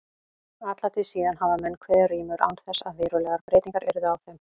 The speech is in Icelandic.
Alla tíð síðan hafa menn kveðið rímur án þess að verulegar breytingar yrðu á þeim.